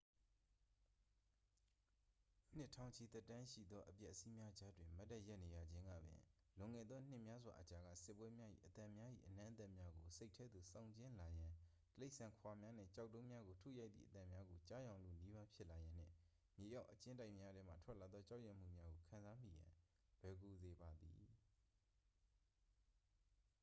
နှစ်ထောင်ချီသက်တမ်းရှိသောအပျက်အစီးများကြားတွင် မတ်တပ်ရပ်နေရခြင်းကပင် လွန်ခဲ့သောနှစ်များစွာအကြာက စစ်ပွဲများ၏ အသံများ၏အနံ့အသက်များကို စိတ်ထဲသို့ဆောင်ကြဉ်းလာရန် တိရစ္ဆာန်ခွာများနှင့် ကျောက်တုံးများကိုထုရိုက်သည့်အသံများကို ကြားယောင်လုနီးပါးဖြစ်လာရန်နှင့် မြေအောက်အကျဉ်းတိုက်များထဲမှထွက်လာသောကြောက်ရွံ့မှုများကို ခံစားမိရန် လွယ်ကူစေပါသည်